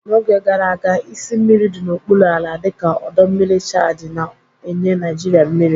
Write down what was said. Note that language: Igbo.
N'oge gara aga, isi mmiri dị n'okpuru ala, dịka ọdọ mmiri Chadi na-enye Naijiria mmiri.